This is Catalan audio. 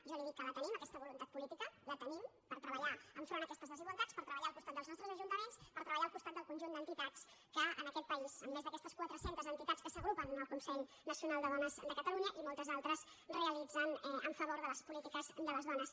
jo li dic que la tenim aquesta voluntat política la tenim per treballar enfront d’aquestes desigualtats per treballar al costat dels nostres ajuntaments per treballar al costat del conjunt d’entitats que en aquest país amb aquestes més de quatre centes entitats que s’agrupen en el consell nacional de dones de catalunya i moltes altres realitzen en favor de les polítiques de les dones